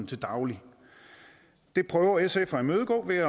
til daglig det prøver sf at imødegå ved